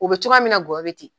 U be cogoya min na gɔyɔ be ten.